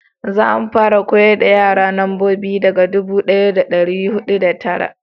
za mu fara koyar da yara nambobi daga dubu daya da dari hudu da tara